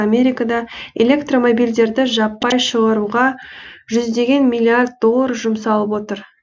америкада электромобильдерді жаппай шығаруға жүздеген миллиард доллар жұмсалып отыр